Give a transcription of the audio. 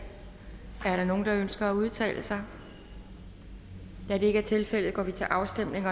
er der nogen der ønsker at udtale sig da det ikke er tilfældet går vi til afstemning